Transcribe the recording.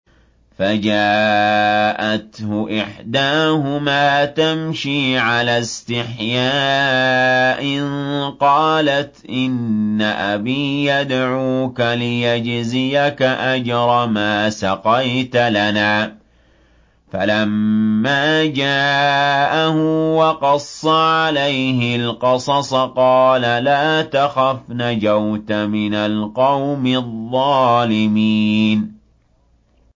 فَجَاءَتْهُ إِحْدَاهُمَا تَمْشِي عَلَى اسْتِحْيَاءٍ قَالَتْ إِنَّ أَبِي يَدْعُوكَ لِيَجْزِيَكَ أَجْرَ مَا سَقَيْتَ لَنَا ۚ فَلَمَّا جَاءَهُ وَقَصَّ عَلَيْهِ الْقَصَصَ قَالَ لَا تَخَفْ ۖ نَجَوْتَ مِنَ الْقَوْمِ الظَّالِمِينَ